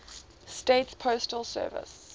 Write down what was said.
states postal service